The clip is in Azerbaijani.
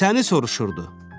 Səni soruşurdu.